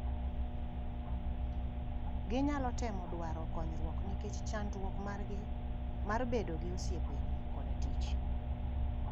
Ginyalo temo dwaro konyruok nikech chandruok margi mar bedo gi osiepe koda tich